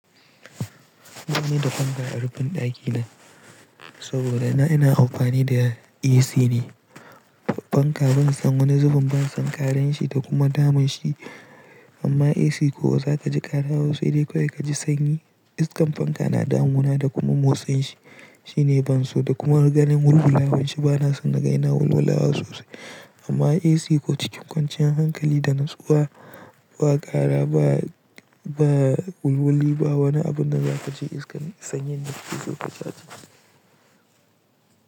Ba ni da fanka a rufin ɗakina saboda na ina amfani da AC ne. Fanka ban san wani zubin ban san ƙarar shi da kuma damun shi amma AC ko za ka ji ƙara wasu dai kawai ka ji sanyi. Iskan fanka na damuna da kuma motsin shi, shi ne ban so da kuma ganin wulwula wan shi ba na son na ga yana wulwulawa sosai amma AC ko cikin kwanciyar hankali da natsuwa ba ƙara ba. Ba wulwuli ba wani abu da za ka ji iskan sanyin da kake so kaji a jikin ka.